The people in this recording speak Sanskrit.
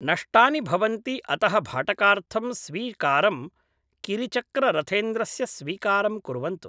नष्टानि भवन्ति अतः भाटकार्थं स्वीकारं किरिचक्ररथेन्द्रस्य स्वीकारं कुर्वन्तु